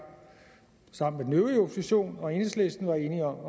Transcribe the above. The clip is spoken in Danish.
sammen med den øvrige opposition og enhedslisten var enige om at